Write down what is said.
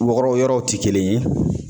Wɔrɔ yɔrɔw ti kelen ye.